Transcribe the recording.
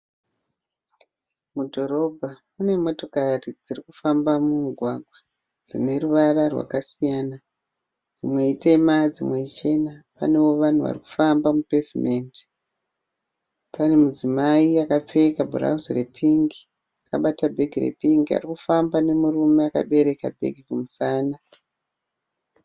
Mudhorobha mune motokari dziri kufamba mumugwagwa dzine ruvara rwakasiyana. Dzimwe itema dzimwe ichena. Panewo vanhu vari kufamba mupevhimendi. Pane mudzimai akapfeka bhurauzi repingi akabata bhegi repingi ari kufamba nemurume akabereka bhegi kumusana.